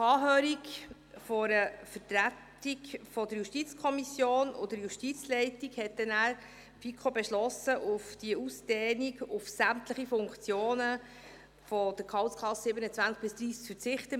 Nach Anhörung einer Vertretung der JuKo und der JGK hat die FiKo beschlossen, auf diese Ausdehnung auf sämtliche Funktionen der Gehaltsklassen 27–30 zu verzichten.